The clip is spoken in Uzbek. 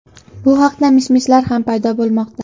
Bu haqda mish-mishlar ham paydo bo‘lmoqda.